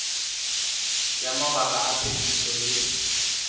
ya mabaka a phetiso le